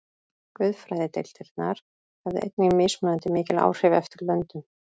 Guðfræðideildirnar höfðu einnig mismunandi mikil áhrif eftir löndum.